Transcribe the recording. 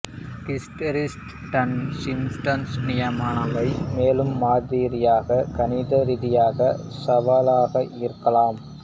ஹிஸ்டீரெஸ்ஸுடனான systems நியாமானவை மேலும் மாதிரியாக கணித ரீதியாக சவாலாக இருக்கலாம்